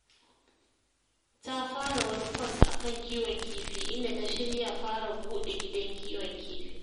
Ta fara wani kwas a kan kiwon kifi, inda ta shirya fara buɗe gidan kiwon kifi.